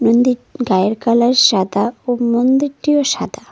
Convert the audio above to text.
মন্দির গায়ের কালার সাদা ও মন্দিরটিও সাদা।